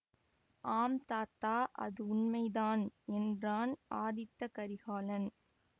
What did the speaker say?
ஆம் தாத்தா அது உண்மைதான் என்றான் ஆதித்த கரிகாலன்